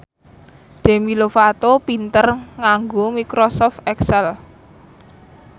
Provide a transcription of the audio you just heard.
Demi Lovato pinter nganggo microsoft excel